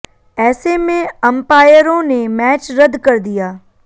ऐसे में अंपायरों ने मैच रद्द कर दिया